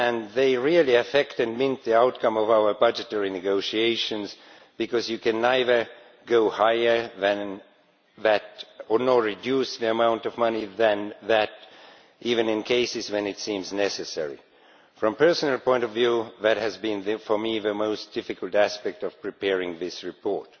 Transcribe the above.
These really affect the outcome of our budgetary negotiations, because you can neither go higher than that nor reduce the amount of money than that, even in cases when it seems necessary. From a personal point of view, that has been for me the most difficult aspect of preparing this report.